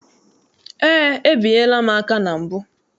Eé, ebinyela m aka na mbụ.